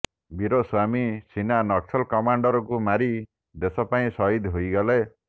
ବୀର ସ୍ବାମୀ ସିନା ନକ୍ସଲ କମାଣ୍ଡରକୁ ମାରି ଦେଶ ପାଇଁ ସହିଦ ହୋଇଗଲେ